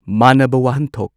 ꯃꯥꯟꯅꯕ ꯋꯥꯍꯟꯊꯣꯛ